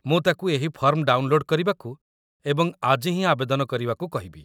ମୁଁ ତାକୁ ଏହି ଫର୍ମ ଡାଉନ୍ଲୋଡ୍ କରିବାକୁ ଏବଂ ଆଜି ହିଁ ଆବେଦନ କରିବାକୁ କହିବି